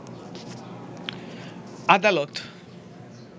আদালত